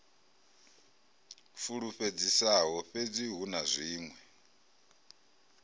fulufhedzisaho fhedzi hu na zwiṅwe